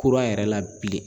Kura yɛrɛ la bilen.